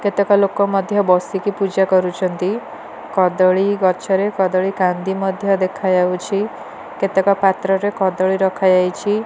କେତେକ ଲୋକ ମଧ୍ୟ ବସି କି ପୂଜା କରୁଛନ୍ତି କଦଳୀ ଗଛ ରେ କଦଳୀ କାନ୍ଦି ମଧ୍ୟ ଦେଖା ଯାଉଛି କେତେ କ ପତ୍ର ରେ କଦଳୀ ରଖା ଯାଇଛି।